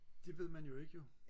det ved man jo ikke jo